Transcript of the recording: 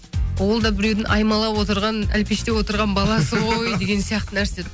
ол да біреудің аймалап отырған әлпештеп отырған баласы ғой деген сияқты нәрсе